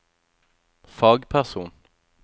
fagperson